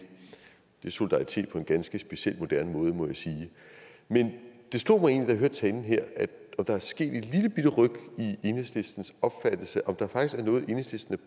det er solidaritet på en ganske speciel moderne måde må jeg sige men det slog mig egentlig da jeg hørte talen her om der er sket et i enhedslistens opfattelse om der faktisk er noget enhedslisten